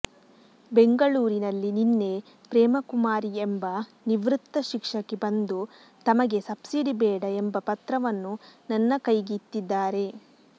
ಬೆಂಗಳೂರಿನಲ್ಲಿ ನಿನ್ನೆ ಪ್ರೇಮಕುಮಾರಿ ಎಂಬ ನಿವೃತ್ತ ಶಿಕ್ಷಕಿ ಬಂದು ತಮಗೆ ಸಬ್ಸಿಡಿ ಬೇಡ ಎಂಬ ಪತ್ರವನ್ನು ನನ್ನ ಕೈಗಿತ್ತಿದ್ದಾರೆ